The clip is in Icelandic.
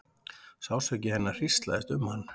Sársauki hennar hríslaðist um hann.